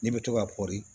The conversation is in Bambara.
Ne bɛ to ka pɔri